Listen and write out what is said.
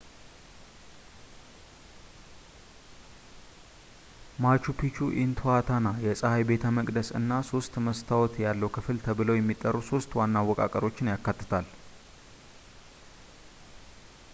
ማቹ ፒቹ ኢንትኋታና የጸሐይ ቤተ መቅደስ እና ሶስት መስታወት ያለው ክፍል ተብለው የሚጠሩ ሶስት ዋና አወቃቀሮችን ያካትታል